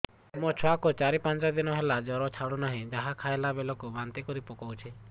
ମୋ ଛୁଆ କୁ ଚାର ପାଞ୍ଚ ଦିନ ହେଲା ଜର ଛାଡୁ ନାହିଁ ଯାହା ଖାଇଲା ବେଳକୁ ବାନ୍ତି କରି ପକଉଛି